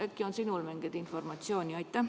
Äkki on sinul mingit informatsiooni?